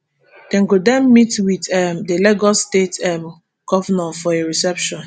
dem go den meet wit um di lagos state um govnor for a reception